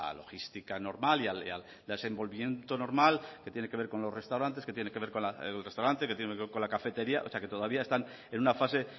logística normal y al desenvolvimiento normal que tiene que ver con el restaurante que tiene que ver con la cafetería o sea que todavía están en una fase